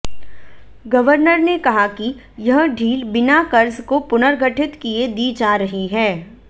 governor ने कहा कि यह ढील बिना कर्ज को पुनर्गठित किए दी जा रही है